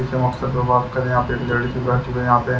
के मकसद पर बात करें यहाँ पे एक लेडीज भी बैठी हुई है यहाँ पे।